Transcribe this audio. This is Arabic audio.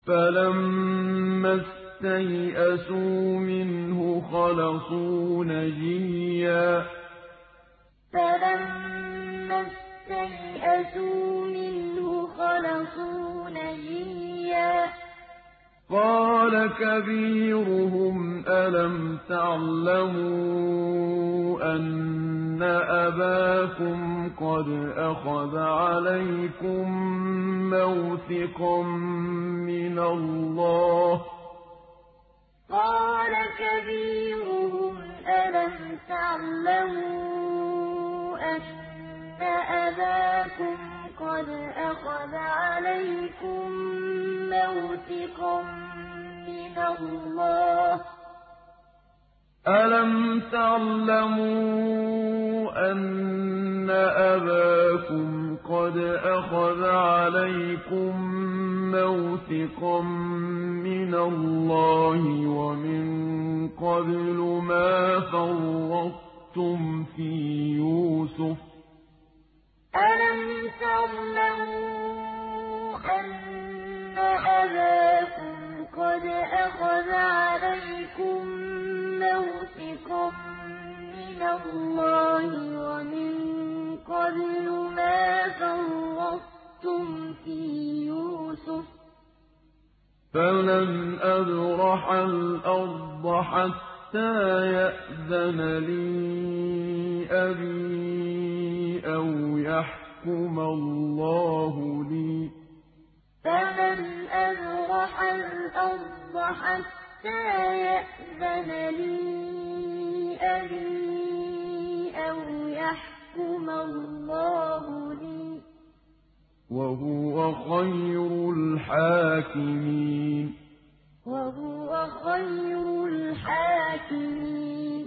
فَلَمَّا اسْتَيْأَسُوا مِنْهُ خَلَصُوا نَجِيًّا ۖ قَالَ كَبِيرُهُمْ أَلَمْ تَعْلَمُوا أَنَّ أَبَاكُمْ قَدْ أَخَذَ عَلَيْكُم مَّوْثِقًا مِّنَ اللَّهِ وَمِن قَبْلُ مَا فَرَّطتُمْ فِي يُوسُفَ ۖ فَلَنْ أَبْرَحَ الْأَرْضَ حَتَّىٰ يَأْذَنَ لِي أَبِي أَوْ يَحْكُمَ اللَّهُ لِي ۖ وَهُوَ خَيْرُ الْحَاكِمِينَ فَلَمَّا اسْتَيْأَسُوا مِنْهُ خَلَصُوا نَجِيًّا ۖ قَالَ كَبِيرُهُمْ أَلَمْ تَعْلَمُوا أَنَّ أَبَاكُمْ قَدْ أَخَذَ عَلَيْكُم مَّوْثِقًا مِّنَ اللَّهِ وَمِن قَبْلُ مَا فَرَّطتُمْ فِي يُوسُفَ ۖ فَلَنْ أَبْرَحَ الْأَرْضَ حَتَّىٰ يَأْذَنَ لِي أَبِي أَوْ يَحْكُمَ اللَّهُ لِي ۖ وَهُوَ خَيْرُ الْحَاكِمِينَ